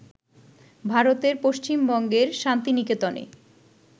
ভারতের পশ্চিমবঙ্গের শান্তিনিকেতনে